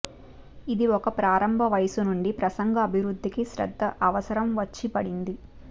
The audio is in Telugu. ఇది ఒక ప్రారంభ వయస్సు నుండి ప్రసంగం అభివృద్ధికి శ్రద్ద అవసరం వచ్చిపడింది